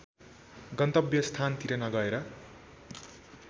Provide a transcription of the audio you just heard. गन्तव्य स्थानतिर नगएर